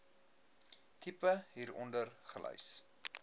tipe hieronder gelys